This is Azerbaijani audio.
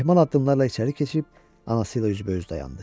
Ehman addımlarla içəri keçib anasıyla üzbəüz dayandı.